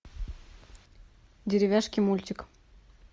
деревяшки мультик